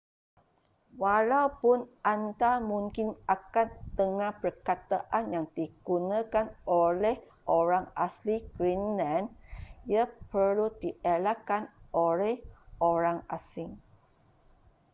walaupun anda mungkin akan dengar perkataan yang digunakan oleh orang asli greenland ia perlu dielakkan oleh orang asing